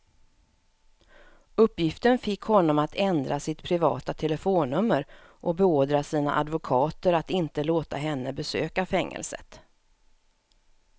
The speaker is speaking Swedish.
Uppgiften fick honom att ändra sitt privata telefonnummer och beordra sina advokater att inte låta henne besöka fängelset.